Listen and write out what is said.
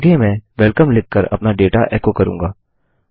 आगे मैं वेलकम लिखकर अपना डेटा एको करूँगा